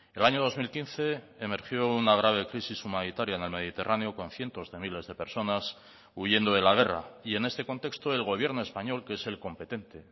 el año dos mil quince emergió una grave crisis humanitaria en el mediterráneo con cientos de miles de personas huyendo de la guerra y en este contexto el gobierno español que es el competente